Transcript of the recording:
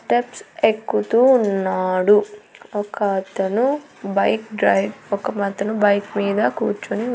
steps ఎక్కుతూ ఉన్నాడు ఒక అతను బైక్ డ్రైవ్ ఒక అతను బైక్ మీద కూర్చొని ఉ --